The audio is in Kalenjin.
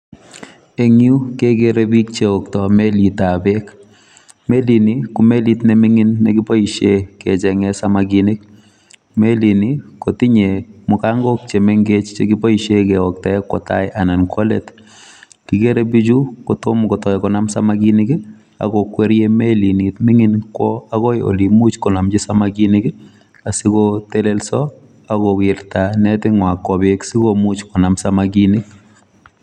Eng yu kekere biik cheokto melitab beek ,melini ko melit neming'in nekiboisien kecheng'en samakinik ,melini kotinye mukango chemengech chekiboisien keoktaen kwo taa ana kwo let kikere bichu kotom kotoi konam samakinik akokwerie melini ming'in kwo akoi olin imuch konomchi samakinik asikotelelso akowirta neting'waa kwo beek sikomuch konam samakinik